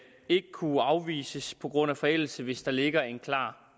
ikke kunne afvises på grund af forældelse hvis der ligger en klar